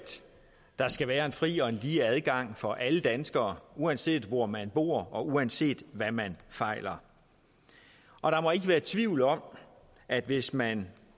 der skal være en fri og lige adgang for alle danskere uanset hvor man bor og uanset hvad man fejler og der må ikke være tvivl om at hvis man